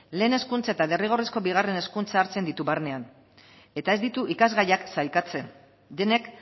lehen hezkuntza eta derrigorrezko bigarren hezkuntza hartzen ditu barnean eta ez ditu ikasgaiak sailkatzen denek